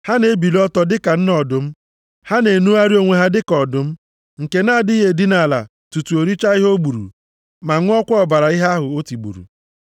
Ha na-ebili ọtọ dịka nne ọdụm, ha na-enugharị onwe ha dịka ọdụm, nke na-adịghị edina ala tutu o richaa ihe o gburu, ma ṅụọkwa ọbara ihe ahụ o tigburu!”